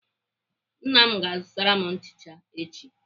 Nna m ga-azụtara m nchicha echi.